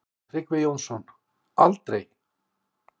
Tryggvi Jónsson: Aldrei.